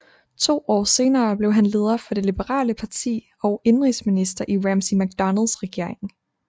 To år senere blev han leder for det liberale parti og indenrigsminister i Ramsay MacDonalds regering